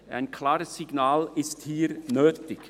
Ein klares Signal ist hier nötig.